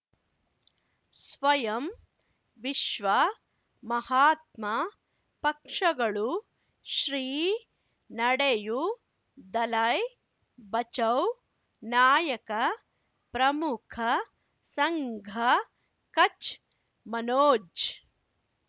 ಸ್ವಯಂ ವಿಶ್ವ ಮಹಾತ್ಮ ಪಕ್ಷಗಳು ಶ್ರೀ ನಡೆಯೂ ದಲೈ ಬಚೌ ನಾಯಕ ಪ್ರಮುಖ ಸಂಘ ಕಚ್ ಮನೋಜ್